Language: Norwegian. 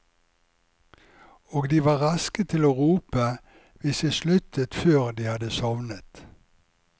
Og de var raske til å rope hvis jeg sluttet før de hadde sovnet.